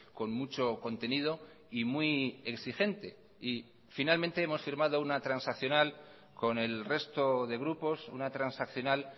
con mucho contenido y muy exigente y finalmente hemos firmado una transaccional con el resto de grupos una transaccional